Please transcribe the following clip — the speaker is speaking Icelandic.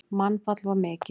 Mannfall var mikið.